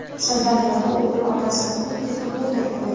Sirdaryoda o‘g‘il otasini urib-tepib, o‘ldirib qo‘ydi.